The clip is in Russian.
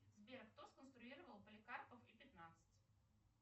сбер кто сконструировал поликарпов и пятнадцать